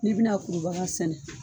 N'i bi na kurubaga sɛnɛ